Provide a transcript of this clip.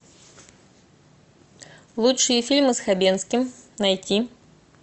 лучшие фильмы с хабенским найти